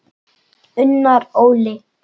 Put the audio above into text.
Unnar Óli.